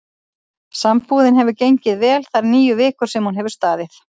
Sambúðin hefur gengið vel þær níu vikur sem hún hefur staðið.